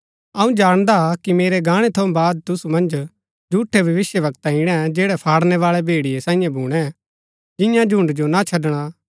अऊँ जाणदा कि मेरै गाणै थऊँ बाद तुसु मन्ज झूठै भविष्‍यवक्ता ईणै जैड़ै फाड़णैवाळै भेड़िये सांईयै भूणै जिंआं झुण्ड़ जो ना छड़णा